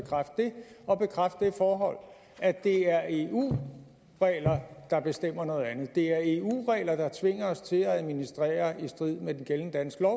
og bekræfte det forhold at det er eu regler der bestemmer noget andet det er eu regler der tvinger os til at administrere i strid med den gældende danske